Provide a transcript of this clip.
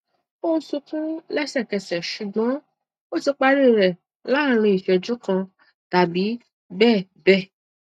ó sunkún lẹsẹkẹsẹ ṣùgbọn ó ti parí rẹ láàárín ìṣẹjú kan tàbí bẹẹ bẹẹ